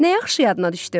Nə yaxşı yadına düşdü?